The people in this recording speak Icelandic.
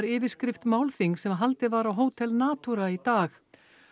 yfirskrift málþings sem haldið var á Hótel Natura í dag